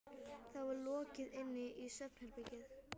Það var lokað inn í svefnherbergið.